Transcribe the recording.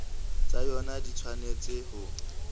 tsa yona di tshwanetse ho